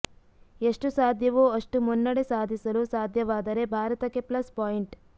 ಎಷ್ಟು ಸಾಧ್ಯವೋ ಅಷ್ಟು ಮುನ್ನಡೆ ಸಾಧಿಸಲು ಸಾಧ್ಯವಾದರೆ ಭಾರತಕ್ಕೆ ಪ್ಲಸ್ ಪಾಯಿಂಟ್